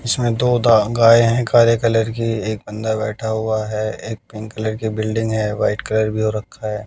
इसमें तोता गाय है काले कलर की एक अंदर बैठा हुआ है एक पिंक कलर की बिल्डिंग है वाइट कलर भी हो रखा है।